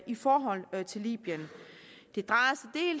i forhold til libyen det drejer